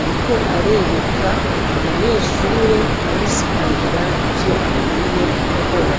ariko arereka umunyeshure amusigurira ivyo akwiye gukora.